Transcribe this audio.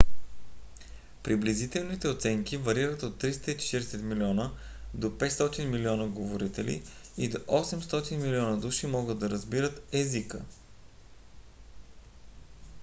приблизителните оценки варират от 340 млн. до 500 милиона говорители и до 800 милиона души могат да разбират езика